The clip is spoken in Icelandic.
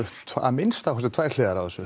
að minnsta kosti tvær hliðar á þessu